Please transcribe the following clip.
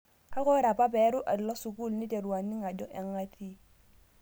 Kake ore paeru alo sukuul naiteru aning' ajo ang' atii